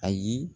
Ayi